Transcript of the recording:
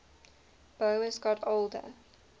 boas got older